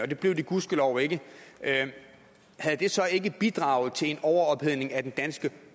det blev de gudskelov ikke havde det så ikke bidraget til en overophedning af den danske